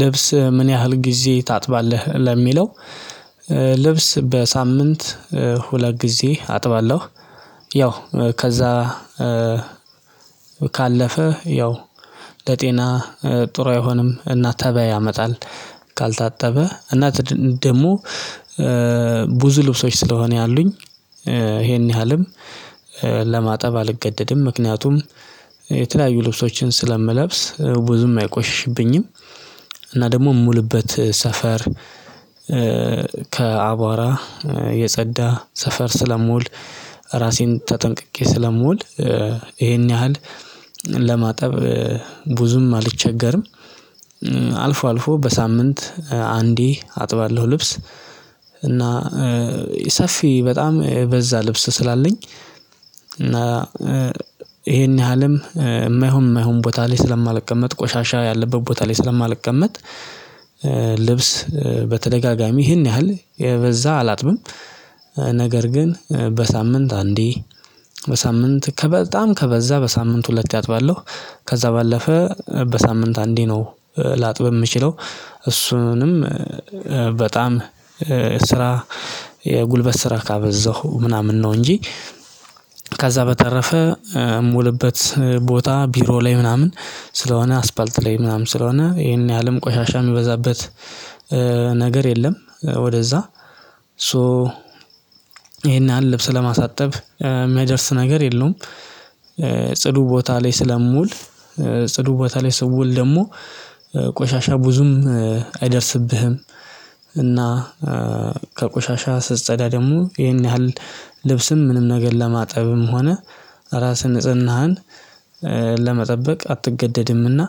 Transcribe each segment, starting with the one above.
ልብስ ምን ያህል ጊዜ ታጥባለህ ለሚለው? ልብስ በሳምንት ሁለት ጊዜ አጥባለሁ። ያው ከዛ ካለፈ ያው ለጤና ጥሩ አይሆንም እና ተባይ ያመጣል። ካልታጠበ እና ደግሞ ብዙ ልብሶች ስለሆነ ያሉኝ ይሄን ያህልም ለማጠብ አልገደድም ምክንያቱም የተለያዩ ልብሶችን ስለምለብስ ብዙም አይቆሽሽብኝም። እና ደግሞ የምውልበት ሰፈር ከአቧራ የጸዳ ሰፈር ስለምውል ራሴን ተጠንቅቄ ስለምውል ይሄን ያህል ለማጠብ ብዙም አልቸገርም። አልፎ አልፎ በሳምንት አንዴ አጥባለሁ ልብስ። እና ሰፊ በጣም በዛ ልብስ ስላለኝ እና ይሄን ያህልም የማይሆን የማይሆን ቦታ ላይ ስለማልቀመጥ ቆሻሻ ያለበት ቦታ ላይ ስለማልቀመጥ ልብስ በተደጋጋሚ ይሄን ያህል የበዛ አላጥብም። ነገር ግን በሳምንት አንዴ በሳምንት ከበጣም ከበዛ በሳምንት ሁለት አጥባለሁ። ከዛ ባለፈ በሳምንት አንዴ ነው ላጥብ የምችለው እሱንም በጣም ስራ የጉልበት ስራ ካበዛሁ ምናምን ነው እንጂ በተረፈ ሞልበት ቦታ ቢሮ ላይ ምናምን ስለሆነ አስፋልት ላይ ምናምን ስለሆነ ይሄን ያህልም ቆሻሻ የሚበዛበት ነገር የለም። ወደዛ ሶ ይሄን ያህል ልብስ ለማሳጠብ የሚያደርስ ነገር የለውም። ጽዱ ቦታ ላይ ስለምውል ጽዱ ቦታ ላይ ስውል ደግሞ ቆሻሻ ብዙም አይደርስብህም። እና ከቆሻሻ ስጸዳ ደግሞ ይሄን ያህል ልብስም ምንም ነገር ለማጠብም ሆነ ራስህን ንጽህናህን ለመጠበቅ አትገደድምና።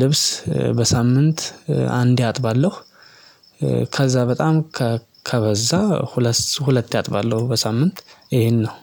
ልብስበሳምንት አንዴ አጥባለሁ። ከዛ በጣም ከበዛ ሁለት ሁለቴ አጥባለሁ። በሳምንት ይሄን ነው።